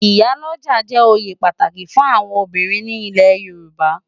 Iyá lòjá jè óyé pàtáki fún áwòn óbirin ni ilè Yoruba